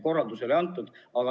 Korraldus oli antud.